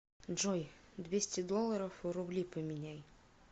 джой двести долларов в рубли поменяй